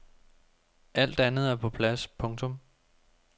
Alt andet er på plads. punktum